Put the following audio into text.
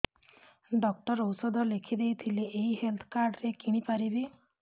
doctor ଔଷଧ ଲେଖିଦେଇଥିଲେ ଏଇ ହେଲ୍ଥ କାର୍ଡ ରେ କିଣିପାରିବି